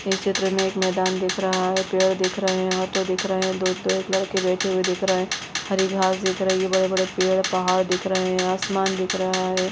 इस चित्र मे एक मैदान दिख रहा है पेड़ दिख रहे है ऑटो दिख रहे है पे एक लड़के बैठे हुए दिख रहे हरी घास दिख रही है बड़े बड़े पेड़ पहाड़ दिख रहे है आसमान दिख रहे है ।